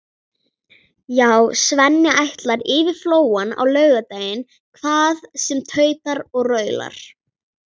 Já, Svenni ætlar yfir Flóann á laugardag hvað sem tautar og raular.